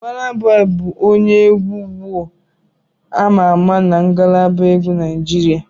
Bọna Bọyi bụ onye egwu ugbu ama ama na ngalaba egwu Naijiria.